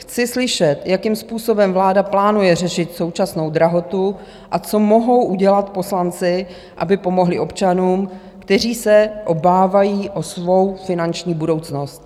Chci slyšet, jakým způsobem vláda plánuje řešit současnou drahotu a co mohou udělat poslanci, aby pomohli občanům, kteří se obávají o svou finanční budoucnost.